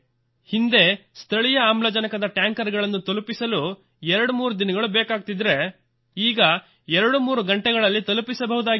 ಹಿಂದೆ ಸ್ಥಳೀಯ ಆಮ್ಲಜನಕದ ಟ್ಯಾಂಕರ್ಗಆಳನ್ನು ತಲುಪಿಸಲು 23 ದಿನಗಳು ಬೇಕಾಗುತ್ತಿದ್ದರೆ ಈಗ 23 ಗಂಟೆಗಳಲ್ಲಿ ತಲುಪಿಸಬಹುದಾಗಿದೆ